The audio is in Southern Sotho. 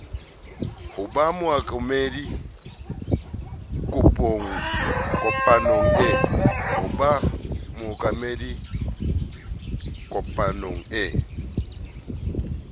ho ba mookamedi kopanong e